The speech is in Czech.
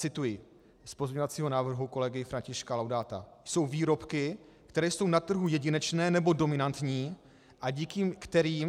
Cituji z pozměňovacího návrhu kolegy Františka Laudáta: Jsou výrobky, které jsou na trhu jedinečné nebo dominantní a díky kterým...